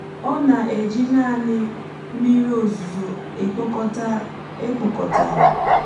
ọ na-eji naanị mmiri ozuzo e kpokọtara.